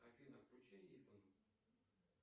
афина включи итэн